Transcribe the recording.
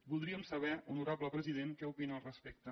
voldríem saber honorable president què opina al respecte